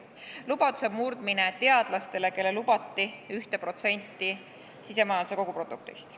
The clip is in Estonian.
Lubaduse murdmine teadlastele, kellele lubati 1% sisemajanduse koguproduktist.